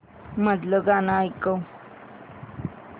मधलं गाणं ऐकव